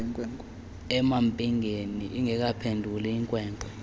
emampingeni ingekaphenduli inkwenkwe